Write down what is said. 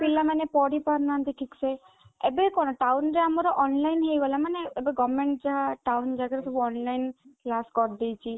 ପିଲାମାନେ ପଢିପାରୁନାହାନ୍ତି ଠିକ ସେ ଏବେ କଣ ଟାଉନ ରେ ଆମର online ହେଇଗଲା ମାନେ ଏବେ government ଯାହା ଟାଉନ ଜାଗାରେ ସବୁ online କ୍ଲାସ କରିଦେଇଛି